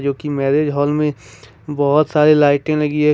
क्योंकि marriage hall में बहुत सारी लाइटिंग लगी है।